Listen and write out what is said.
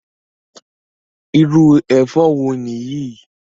Irú ẹ̀fọ́ wo niyi?